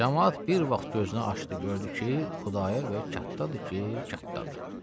Camaat bir vaxt gözünü açdı, gördü ki, Xudayar bəy kattadır ki, kattadır.